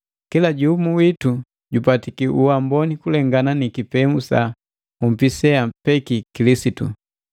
Kila jumu witu jupatiki uamboni kulengana ni kipemu sa nhupi seampeki Kilisitu.